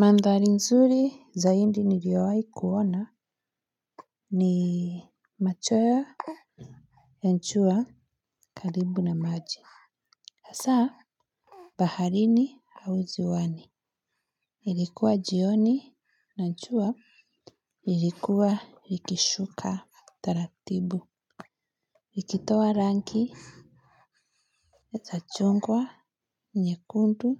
Mandhari nzuri zaidi niliyowahi kuona ni macchweo ya jua karibu na maji. Hasa, baharini au ziwani. Ilikuwa jioni na jua ilikuwa likishuka taratibu. Likitoa rangi ya za chungwa, nyekundu